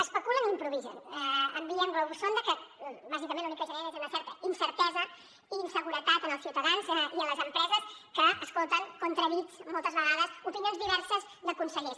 especulen i improvisen envien globus sonda que bàsicament l’únic que generen és una certa incertesa i inseguretat en els ciutadans i les empreses que escolten contradits moltes vegades opinions diverses de consellers